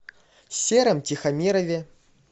сером тихомирове